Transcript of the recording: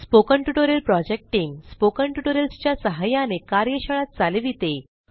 spoken tutorial project team spoken tutorial च्या सहाय्याने कार्यशाळा चालविते